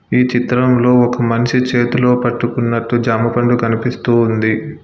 ఈ చిత్రంలో ఒక మనిషి చేతిలో పట్టుకున్నట్టు జామ పండు కనిపిస్తూ ఉంది.